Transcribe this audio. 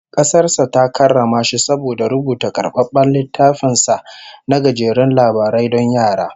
Kasar sa ta karrama shi saboda rubuta karbabben littafin sa na gajerun labarai don yara